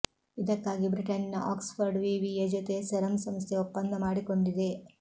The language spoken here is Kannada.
ಇದಕ್ಕಾಗಿ ಬ್ರಿಟನ್ನಿನ ಆಕ್ಸ್ಫರ್ಡ್ ವಿವಿ ಜೊತೆ ಸೆರಮ್ ಸಂಸ್ಥೆ ಒಪ್ಪಂದ ಮಾಡಿಕೊಂಡಿದೆ